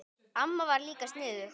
Amma var líka sniðug.